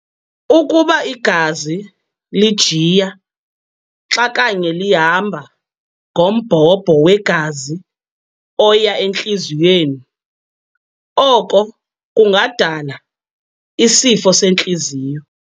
Ukuba igazi lijiya xa kanye lihamba ngombhobho wegazi oya entliziyweni, oko kungadala isifo sentliziyo.